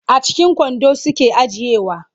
A cikin kwando suke ajiyewa.